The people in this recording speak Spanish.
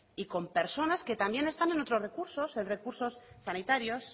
y con personas que también están en otros recursos en recursos sanitarios